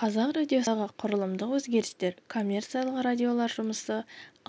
қазақ радиосындағы құрылымдық өзгерістер коммерциялық радиолар жұмысы